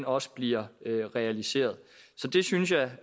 også bliver realiseret så det synes jeg